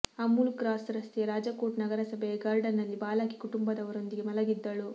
Amul cross ರಸ್ತೆಯ ರಾಜಕೋಟ್ ನಗರಸಭೆಯ ಗಾರ್ಡನ್ನಲ್ಲಿ ಬಾಲಕಿ ಕುಟುಂಬದವರೊಂದಿಗೆ ಮಲಗಿದ್ದಳು